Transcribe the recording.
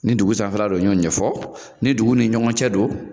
Ni dugun sanfɛla don n y'o ɲɛfɔ ni dugun ni ɲɔgɔn cɛ don